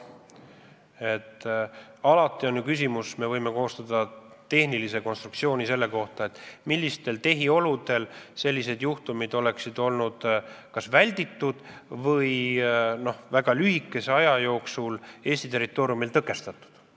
Tehniliselt on alati võimalik koostada analüüs, millistes tehioludes sellised juhtumid oleksid olnud kas välditud või väga kiiresti Eesti territooriumil tõkestatud.